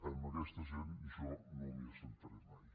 amb aquesta gent jo no m’hi asseuré mai